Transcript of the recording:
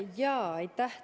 Aitäh!